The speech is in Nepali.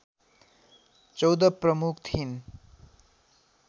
१४ प्रमुख थिइन्